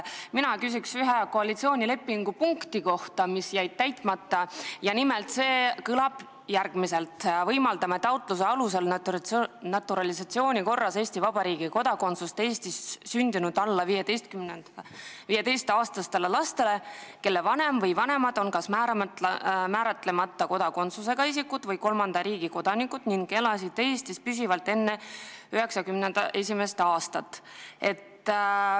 Ma küsin koalitsioonilepingu ühe punkti kohta, mis on jäänud täitmata, ja see kõlab järgmiselt: võimaldame taotluse alusel naturalisatsiooni korras Eesti Vabariigi kodakondsust Eestis sündinud alla 15-aastastele lastele, kelle vanem või vanemad on kas määratlemata kodakondsusega isikud või kolmanda riigi kodanikud ning elasid Eestis püsivalt enne 1991. aastat.